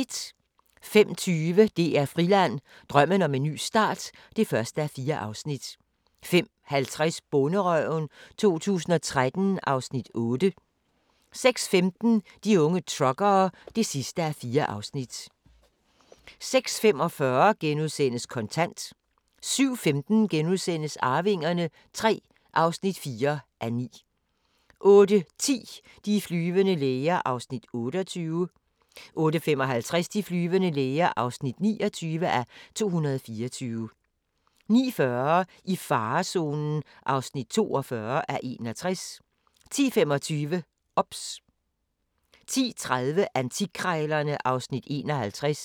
05:20: DR Friland: Drømmen om en ny start (1:4) 05:50: Bonderøven 2013 (Afs. 8) 06:15: De unge truckere (4:4) 06:45: Kontant * 07:15: Arvingerne III (4:9)* 08:10: De flyvende læger (28:224) 08:55: De flyvende læger (29:224) 09:40: I farezonen (42:61) 10:25: OBS 10:30: Antikkrejlerne (Afs. 51)